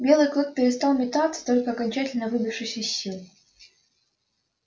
белый клык перестал метаться только окончательно выбившись из сил